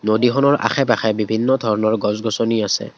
নদীখনৰ আশে পাশে বিভিন্ন ধৰণৰ গছ গছনি আছে।